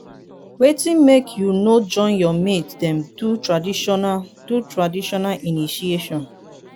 wetin make you no join your mate dem do traditional do traditional initiation?